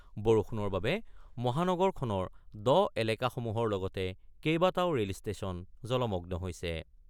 বৰষুণৰ বাবে মহানগৰখনৰ দ এলেকাসমূহৰ লগতে কেইবাটাও ৰেলষ্টেচন জলমগ্ন হৈছে।